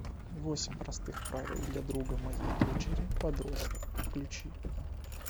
восемь простых правил для друга моей дочери подростка включи